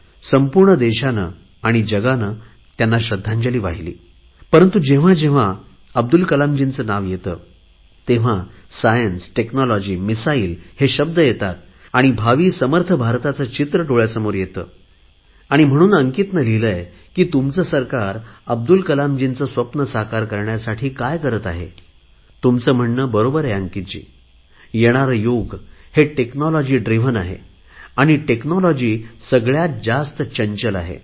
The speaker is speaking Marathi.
संपूर्ण देशाने आणि जगाने त्यांना श्रध्दांजली वाहिली परंतु जेव्हा जेव्हा अब्दुल कलामजींचे नाव येते तेव्हा सायन्स टेक्नॉलॉजी मिसाईल हे शब्द येतात आणि भावी समर्थ भारताचे चित्र डोळयासमोर येते आणि म्हणून अंकित यांनी लिहिले आहे की तुमचे सरकार अब्दुल कलामजीचे स्वप्न साकार करण्यासाठी काय करत आहे तुमचे म्हणणे बरोबर आहे अंकीतजी येणारे युग हे टेक्नॉलॉजी ड्रिव्हन आहे आणि टेक्नॉलॉजी सगळयात जास्त चंचल आहे